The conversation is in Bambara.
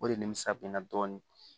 O de nimisa bɛ n na dɔɔnin